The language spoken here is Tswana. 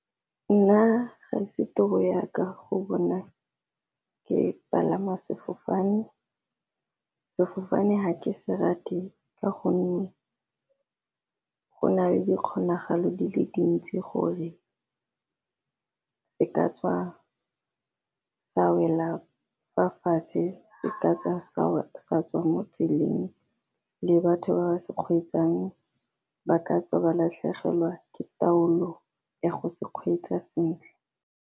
Nna ga e se toro ya ka go bona ke palama sefofane, sefofane ha ke se rate ka gonne go na le di kgonagalo di le dintsi gore se ka tswa sa wela fa fatshe. Se ka tswa sa tswa mo tseleng le batho ba ba se kgweetsang ba ka tswa ba latlhegelwa ke taolo ya go se kgweetsa sentle.